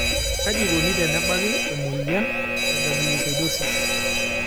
Kaji eikoni tenebaki emoyian e gangliosidosis?